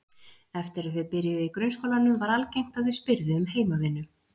Eftir að þau byrjuðu í grunnskólanum var algengt að þau spyrðu um heimavinnu.